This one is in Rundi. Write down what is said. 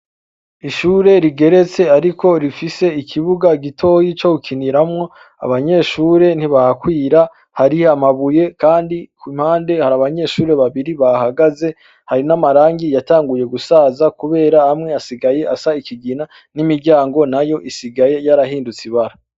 ishure rigeretse ariko rifise ikibuga gitoyi co gukiniramwo, abanyeshure ntibahakwira hari amabuye kandi k' impande hari abanyeshure babiri bahahagaze hari n'amarangi yatanguye gusaza kubera amwe asigaye asa ikigina n'imiryango nayo isigaye yarahindutse ibara.